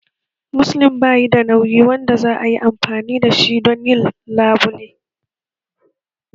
Muslin bayi da nauyi wanda za a yi amfani da shi don labule